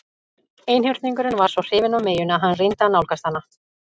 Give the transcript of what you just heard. Einhyrningurinn var svo hrifinn af meyjunni að hann reyndi að nálgast hana.